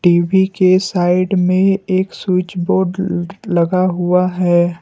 TV के side में एक स्विच बोर्ड लगा हुआ है।